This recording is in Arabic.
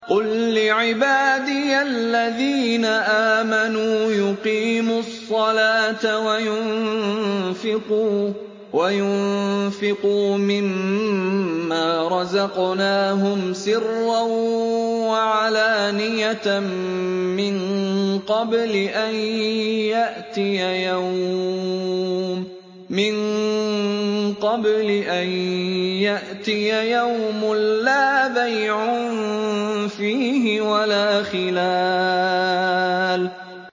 قُل لِّعِبَادِيَ الَّذِينَ آمَنُوا يُقِيمُوا الصَّلَاةَ وَيُنفِقُوا مِمَّا رَزَقْنَاهُمْ سِرًّا وَعَلَانِيَةً مِّن قَبْلِ أَن يَأْتِيَ يَوْمٌ لَّا بَيْعٌ فِيهِ وَلَا خِلَالٌ